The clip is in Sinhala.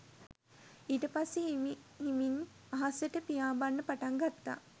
ඊටපස්සෙ හිමි හිමින් අහසට පියාඹන්න පටන් ගත්තා